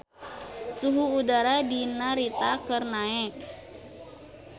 Suhu udara di Narita keur naek